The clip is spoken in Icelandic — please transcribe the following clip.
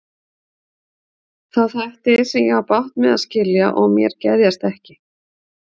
Þá þætti, sem ég á bágt með að skilja og mér geðjast ekki.